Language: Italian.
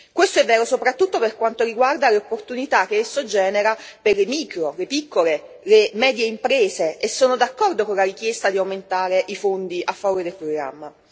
Questo è vero soprattutto per quanto riguarda le opportunità che esso genera per le micro, le piccole e le medie imprese e sono d'accordo con la richiesta di aumentare i fondi a favore del programma.